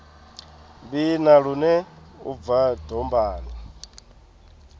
vhina lune u bva dombani